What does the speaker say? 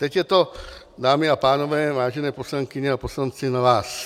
Teď je to, dámy a pánové, vážené poslankyně a poslanci, na vás.